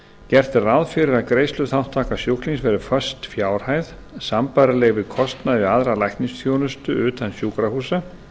gert er ráð fyrir að greiðsluþátttaka sjúklings verði föst fjárhæð sambærileg við kostnað við aðra læknisþjónustu utan sjúkrahúsa